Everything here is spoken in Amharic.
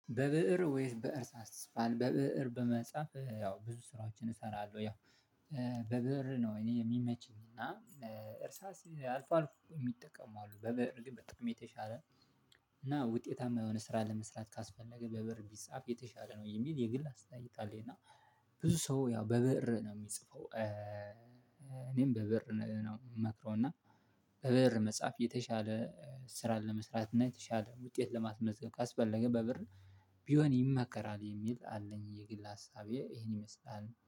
"በብእር ወይስ በእርሳስ ትጽፋለህ?" በብእር በመጻፍ ያው ብዙ ስራዎችን እሰራለሁ። ያው በብእር ነው እኔ የሚመቸኝ እና እርሳስ አልፎ አልፎ የሚጠቀሙ አሉ በብእር ግን በጣም የተሻለ እና ውጤታማ የሆነ ስራ ለመስራት ካስፈለገ በብእር ቢጻፍ የተሻለ ነው የሚል የግል አስተያየት አለኝ እና ብዙ ሰው ያው በብእር ነው የሚጽፈው እኔም በብእር ነው የምመክረው እና በብእር መጻፍ የተሻለ ስራን ለመስራት እና የተሻለ ውጤት ለማስመዝገብ ካስፈለገ በብር ቢሆን ይመከራል የሚል አለኝ የግል ሀሳቤ ይሄን ይመስላል።